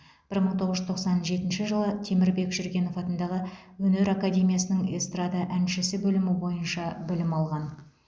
бір мың тоғыз жүз тоқсан жетінші жылы темірбек жүргенов атындағы өнер академиясының эстрада әншісі бөлімі бойынша білім алған